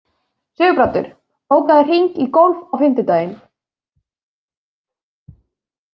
Sigurbrandur, bókaðu hring í golf á fimmtudaginn.